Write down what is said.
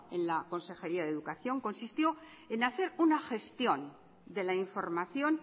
en la consejería de educación consistió en hacer una gestión de la información